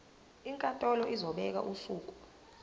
inkantolo izobeka usuku